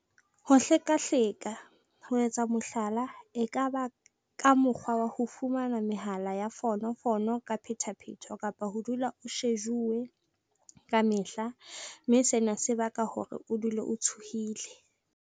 Ho hlekahleka- ho etsa mohlala e ka ba ka mokgwa wa ho fumana mehala ya fono fono ka phethaphetho kapa ho dula o shejuwe ka mehla mme sena se baka hore o dule o tshohile.